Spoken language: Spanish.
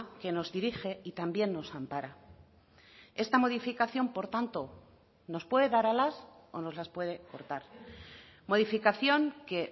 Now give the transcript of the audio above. que nos dirige y también nos ampara esta modificación por tanto nos puede dar alas o nos las puede cortar modificación que